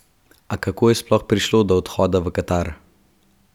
A kako je sploh prišlo do odhoda v Katar?